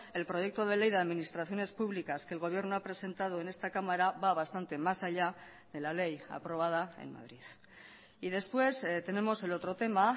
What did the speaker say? el proyecto de ley de administraciones públicas que el gobierno ha presentado en esta cámara va bastante mas allá de la ley aprobada en madrid y después tenemos el otro tema